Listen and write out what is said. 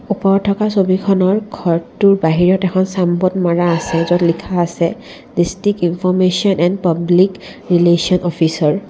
ওপৰত থকা ছবিখনৰ ঘৰটোৰ বাহিৰত এখন চানবোৰ্ড মাৰা আছে য'ত লিখা আছে district information and public relation officer.